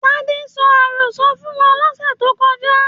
Tade sọ àrọ́sọ fún wa lọ̀sẹ̀ tó kọjá.